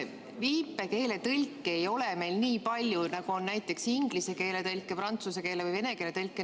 Viipekeeletõlke ei ole meil nii palju, nagu on näiteks inglise keele, prantsuse keele või vene keele tõlke.